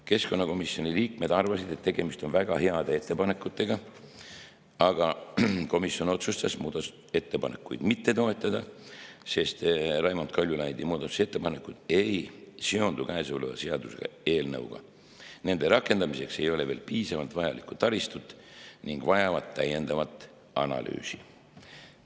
Keskkonnakomisjoni liikmed arvasid, et tegemist on väga heade ettepanekutega, aga komisjon otsustas muudatusettepanekuid mitte toetada, sest Raimond Kaljulaidi muudatusettepanekud ei seondu käesoleva seaduseelnõuga, nende rakendamiseks ei ole veel piisavalt vajalikku taristut ning need vajavad täiendavat analüüsi.